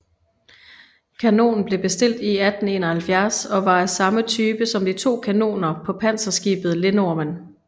Kanonen blev bestilt i 1871 og var af samme type som de to kanoner på panserskibet Lindormen